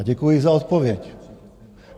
A děkuji za odpověď.